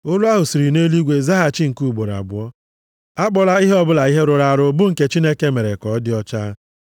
“Olu ahụ siri nʼeluigwe zaghachi nke ugboro abụọ, ‘Akpọla ihe ọbụla ihe rụrụ arụ bụ nke Chineke mere ka ọ dị ọcha.’